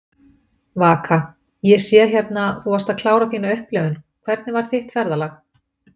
Vaka: Ég sé hérna, þú varst að klára þína upplifun, hvernig var þitt ferðalag?